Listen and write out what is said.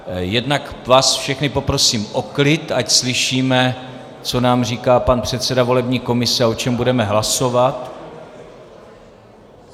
Jednak vás všechny poprosím o klid, ať slyšíme, co nám říká pan předseda volební komise a o čem budeme hlasovat.